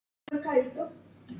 Hendist í burtu.